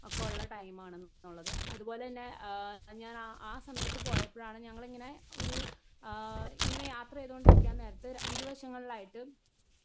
Speaker 1 ആ കൊള്ള ടൈമാണെന്നും അതുപോലെതന്നെ ആ ഞാനാ അ സമയത് പോയപ്പഴാണ് ഇങ്ങനെ ഒരു ആ ഇങ്ങനെ യാത്ര ചെയ്തോണ്ടിരിക്കാനേരത്ത് ഇരുവശങ്ങളിലായിട്ട്.